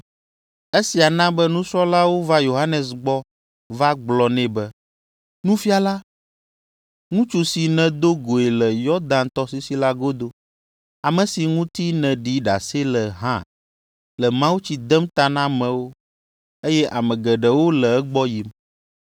Esia na be nusrɔ̃lawo va Yohanes gbɔ va gblɔ nɛ be, “Nufiala, ŋutsu si nèdo goe le Yɔdan tɔsisi la godo, ame si ŋuti nèɖi ɖase le hã le mawutsi dem ta na amewo, eye ame geɖewo le egbɔ yim.”